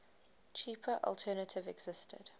cheaper alternative existed